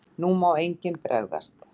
NÚ MÁ ENGINN BREGÐAST!